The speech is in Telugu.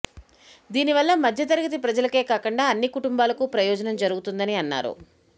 దీనివల్ల మధ్యతరగతి ప్రజలకే కాకుండా అన్ని కుటుంబాలకు ప్రయోజనం జరుగుతుందని అన్నారు